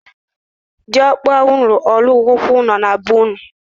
Di okpa unu alu go ulo na bee-unu?